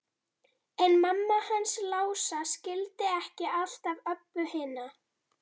En mamma hans Lása skildi ekki alltaf Öbbu hina.